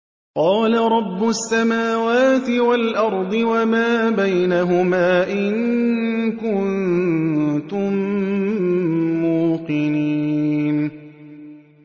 قَالَ رَبُّ السَّمَاوَاتِ وَالْأَرْضِ وَمَا بَيْنَهُمَا ۖ إِن كُنتُم مُّوقِنِينَ